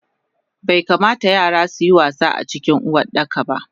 Baikamata yara suyi wasa acikin Uwardakaba